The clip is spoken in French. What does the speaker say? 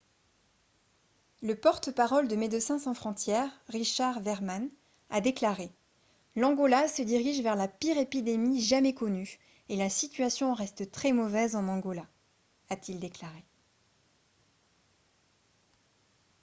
le porte-parole de médecins sans frontières richard veerman a déclaré :« l'angola se dirige vers la pire épidémie jamais connue et la situation reste très mauvaise en angola » a-t-il déclaré